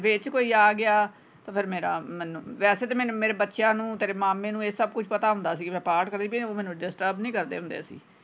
ਵਿੱਚ ਕੋਈ ਆ ਗਿਆ ਫੇਰ ਮੇਰਾ ਮੈਨੂੰ ਵੈਸੇ ਤੇ ਮੈਨੂੰ ਮੇਰੇ ਬੱਚਿਆਂ ਨੂੰ ਤੇਰੇ ਮਾਮੇ ਨੂੰ ਇਹ ਸਬ ਕੁਛ ਪਤਾ ਹੁੰਦਾ ਕਿ ਮੈਂ ਪਾਠ ਕਰਦੀ ਪਈ ਆਂ ਉਹ ਮੈਨੂੰ disturb ਨਹੀਂ ਕਰਦੇ ਹੁੰਦੇ।